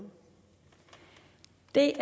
det